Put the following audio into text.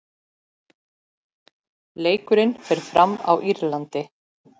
Leikurinn fer fram á Írlandi.